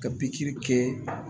Ka pikiri kɛ